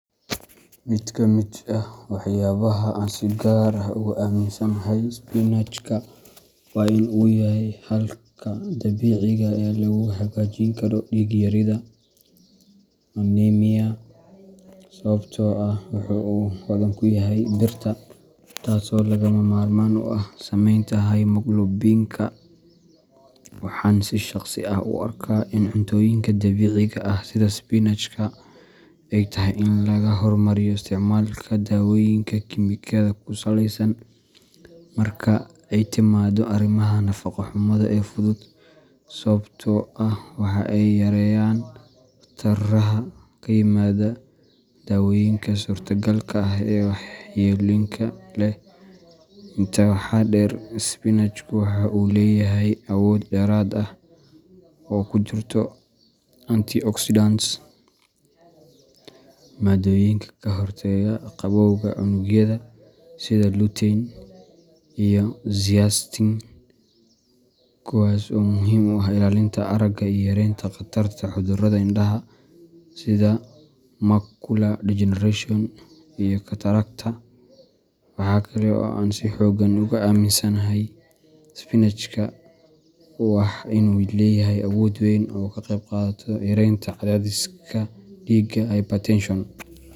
Mid ka mid ah waxyaabaha aan si gaar ah uga aaminsanahay spinachka waa in uu yahay xalka dabiiciga ah ee lagu hagaajin karo dhiig yarida anemia, sababtoo ah waxa uu hodan ku yahay birta, taasoo lagama maarmaan u ah samaynta hemoglobinka. Waxaan si shaqsi ah u arkaa in cuntooyinka dabiiciga ah sida spinachka ay tahay in laga hormariyo isticmaalka daawooyinka kiimikada ku salaysan marka ay timaado arrimaha nafaqo xumada ee fudud, sababtoo ah waxa ay yareeyaan khataraha ka yimaada dawooyinka suurtagalka ah ee waxyeelooyinka leh. Intaa waxaa dheer, spinachku waxa uu leeyahay awood dheeraad ah oo ay ku jirto anti oxidants maaddooyin ka hortaga gabowga unugyada, sida [cs[lutein iyo zeaxanthin, kuwaas oo muhiim u ah ilaalinta aragga iyo yareynta khatarta cudurrada indhaha sida macular degeneration iyo katarakta. Wax kale oo aan si xooggan uga aaminsanahay spinachka waa in uu leeyahay awood weyn oo uu kaga qayb qaato yaraynta cadaadiska dhiigga hypertension.